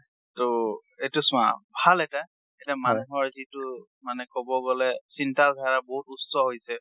ট এতিয়া চোৱা, ভাল এটা, এটা মানুহৰ যিটো মানে কবগলে চিন্তাধাৰা বহুত উচ্চা হৈছে।